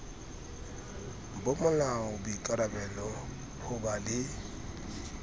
bomolao boikarallo ho ba le